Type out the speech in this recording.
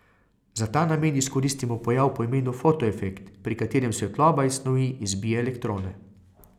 Za ta namen izkoristimo pojav po imenu fotoefekt, pri katerem svetloba iz snovi izbije elektrone.